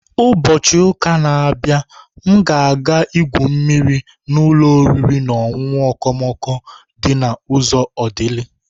Ubochi uka na-abịa, m ga-aga igwu mmiri na ụlọ oriri na ọṅụṅụ okomoko di na uzo Odili.